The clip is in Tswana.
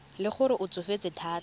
le gore o tsofetse thata